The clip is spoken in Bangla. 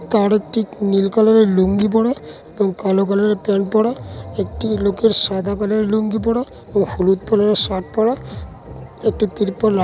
তার একটি নীল কালার -এর লুঙ্গি পরা এবং কালো কালার -এর প্যান্ট পরা একটি লোকের সাদা কালার -এর লুঙ্গি পরা ও হলুদ কালার -এর শার্ট পরা একটি ত্রিপল আ--